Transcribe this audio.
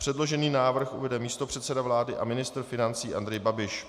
Předložený návrh uvede místopředseda vlády a ministr financí Andrej Babiš.